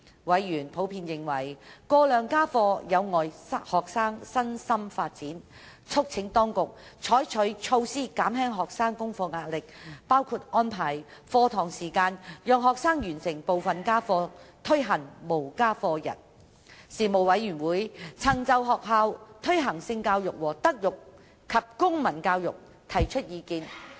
委員普遍認為過量家課有礙學生身心發展，促請當局採取措施減輕學生功課壓力，包括安排課堂時間讓學生完成部分家課、推行"無家課日"等。事務委員會曾就在學校推行性教育和德育及公民教育提出意見。